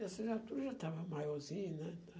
Assim a já estava maiorzinha, né?